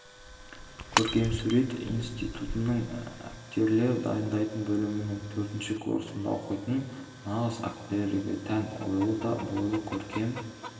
көркемсурет институтының актерлер дайындайтын бөлімінің төртінші курсында оқитын нағыз актерлерге тән ойлы да бойлы көркем